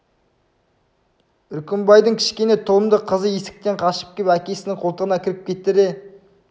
үркімбайдың кішкене тұлымды қызы есіктен қашып кеп әкесінің қолтығына кіріп кетті де